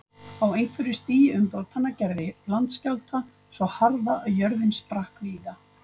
Á einhverju stigi umbrotanna gerði landskjálfta svo harða að jörðin sprakk víða.